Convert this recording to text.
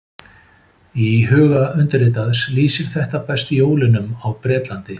í huga undirritaðs lýsir þetta best jólunum á bretlandi